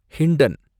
Hindon